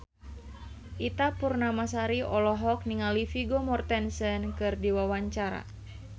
Ita Purnamasari olohok ningali Vigo Mortensen keur diwawancara